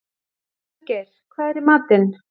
Gunngeir, hvað er í matinn?